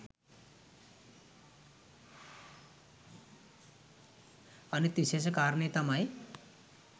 අනික් විශේෂ කාරණය තමයි